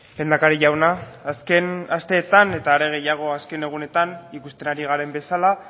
lehendakari jauna azken asteetan eta are gehiago azken egunetan ikusten ari garen bezala